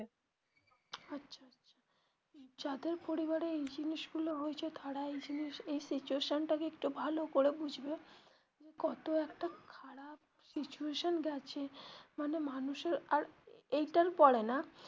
যাদের পরিবারে এই জিনিস গুলো হয়েছে তারাই এই জিনিস এই situation টা কে একটু ভালো করে বুঝবে কত একটা খারাপ situation গেছে মানে মানুষের আর এইটার পরে না.